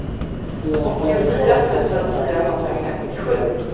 åttiofyra tusen fyrahundrafemtiosju